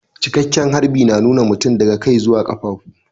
Cikeken harbi na nuna mutum daga kai zuwa kafafu.